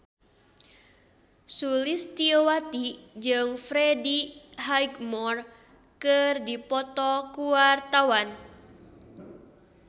Sulistyowati jeung Freddie Highmore keur dipoto ku wartawan